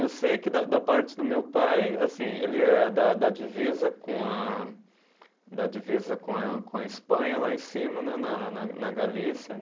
Eu sei que da da parte do meu pai, assim ele é da da divisa com a, da divisa com a, com a Espanha, lá em cima né, na na na Galícia.